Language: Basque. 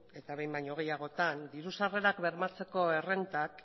eta behin baino gehiagotan diru sarrerak bermatzeko errentak